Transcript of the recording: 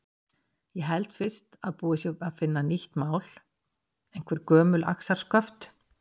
Ég held fyrst að búið sé að finna nýtt mál, einhver gömul axarsköft.